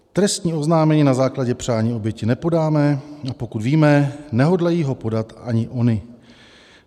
"Trestní oznámení na základě přání oběti nepodáme, a pokud víme, nehodlají ho podat ani ony.